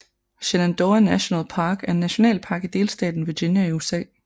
Shenandoah National Park er en nationalpark i delstaten Virginia i USA